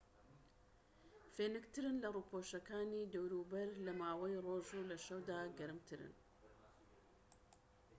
فێنکترن لە ڕووپۆشەکانی دەوروبەر لە ماوەی ڕۆژ و لە شەودا گەرمترن